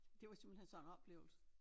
Det var simpelthen sådan en oplevelse